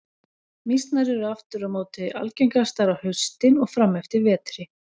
Mýsnar eru aftur á móti algengastar á haustin og fram eftir vetri.